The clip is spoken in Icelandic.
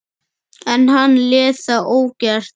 En hann lét það ógert.